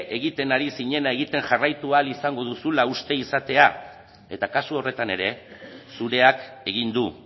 egiten ari zinena egiten jarraitu ahal izango duzula uste izatea eta kasu horretan ere zureak egin du